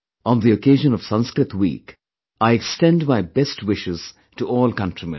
On the occasion of Sanskrit week, I extend my best wishes to all countrymen